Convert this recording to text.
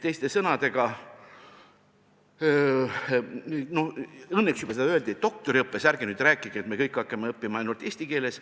Õnneks juba öeldi, et doktoriõppe puhul ei maksa rääkidagi, et me kõik hakkame õppima ainult eesti keeles.